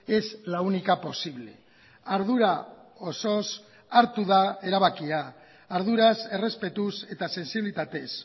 es la única posible ardura osoz hartu da erabakia arduraz errezpetuz eta sentsibilitatez